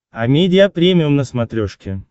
амедиа премиум на смотрешке